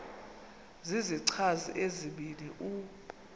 zizichazi ezibini u